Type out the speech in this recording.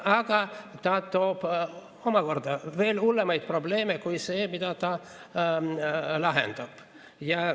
Aga ta toob omakorda veel hullemaid probleeme, kui see, mida ta lahendab.